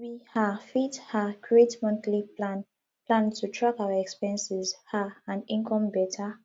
we um fit um create monthly plan plan to track our expenses um and income beta